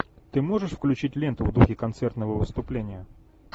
ты можешь включить ленту в духе концертного выступления